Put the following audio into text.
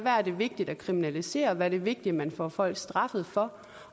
vigtigt at kriminalisere hvad det er vigtigt at man får folk straffet for